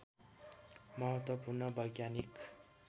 महत्त्वपूर्ण वैज्ञानिक